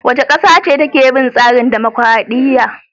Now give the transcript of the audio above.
Wace ƙasa ce take bin tsarin dumukuradiyya?